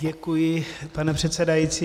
Děkuji, pane přesedající.